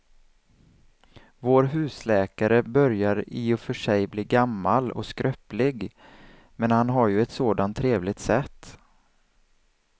Vår husläkare börjar i och för sig bli gammal och skröplig, men han har ju ett sådant trevligt sätt!